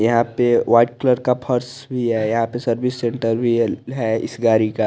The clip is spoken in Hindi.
यहा पे वाइट कलर का फर्स भी है यहा पे सर्विस सेण्टर वियल है इस गाडी का--